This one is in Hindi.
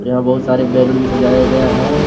यहां बहुत सारे बैलून भी सजाया गया है।